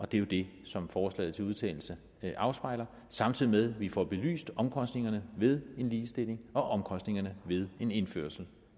det er jo det som forslaget til vedtagelse afspejler samtidig med at vi får belyst omkostningerne ved en ligestilling og omkostningerne ved en indførelse